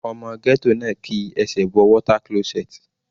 Ọmọ ghetto náà ki ẹsẹ̀ bọ water closet.